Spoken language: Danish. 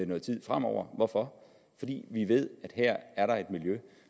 noget tid fremover hvorfor fordi vi ved at her er der et miljø